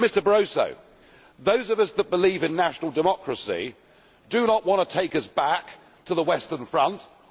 But, Mr Barroso, those of us that believe in national democracy do not want to take us back to the Western Front or